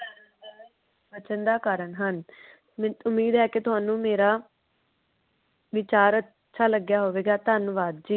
ਬਚਨ ਦਾ ਕਾਰਨ ਹਨ। ਉਮੀਦ ਹੈ ਕਿ ਤੁਹਾਨੂੰ ਮੇਰਾ ਵਿਚਾਰ ਅੱਛਾ ਲੱਗਿਆ ਹੋਵੇ ਗਾ ਧੰਨਵਾਦ ਜੀ